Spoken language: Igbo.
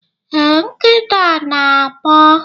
ee, nkịta na-agbọ